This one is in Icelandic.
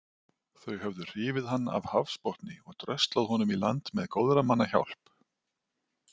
Þau höfðu hrifið hann af hafsbotni og dröslað honum í land með góðra manna hjálp.